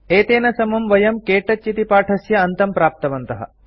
एतेन समं वयं के टच इति पाठस्य अन्तं प्राप्तवन्तः